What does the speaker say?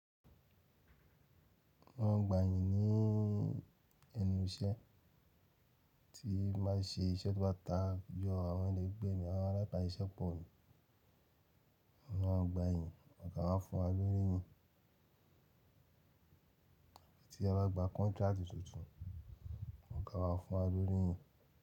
Mo máa ń gba ìyìn ní ẹnu iṣẹ́ tí n bá ṣe iṣẹ́ tó bá tayọ àwọn ẹlẹgbẹ́ mi àwọn alábàáṣiṣẹ́pò pọ̀ mi. Mo má ń gba ìyìn, wọ́n máa fún wa lórí yìn. Tí a bá gba contract tuntun, ọ̀gá máa fún wa lórí yìn.